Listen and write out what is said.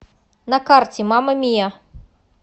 на карте мама мия